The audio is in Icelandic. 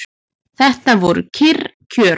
Þetta voru kyrr kjör.